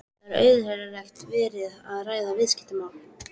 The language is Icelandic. Það er auðheyrilega verið að ræða viðskiptamál.